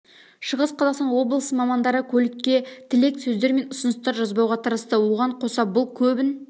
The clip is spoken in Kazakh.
шығыс қазақстан облысы мамандары көлікке тілек сөздер мен ұсыныстар жазбауға тырысты оған қоса бұл көбін